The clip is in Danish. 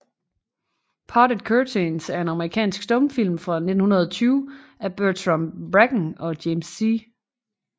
Parted Curtains er en amerikansk stumfilm fra 1920 af Bertram Bracken og James C